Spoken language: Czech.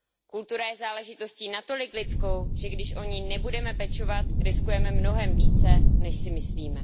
Kultura je záležitostí natolik lidskou, že když o ni nebudeme pečovat, riskujeme mnohem více, než si myslíme.